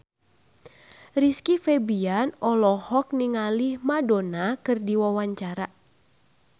Rizky Febian olohok ningali Madonna keur diwawancara